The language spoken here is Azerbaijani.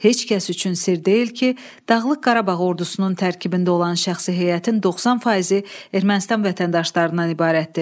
Heç kəs üçün sirr deyil ki, Dağlıq Qarabağ ordusunun tərkibində olan şəxsi heyətin 90 faizi Ermənistan vətəndaşlarından ibarətdir.